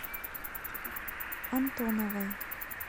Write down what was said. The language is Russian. антоновой